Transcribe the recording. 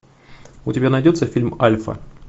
у тебя найдется фильм альфа